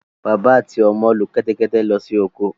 Bàbá àti ọmọ lo kẹ́tẹ́kẹtẹ́ lọ sí oko.